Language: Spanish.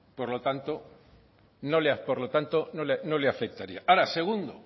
por lo tanto no le afectaría ahora segundo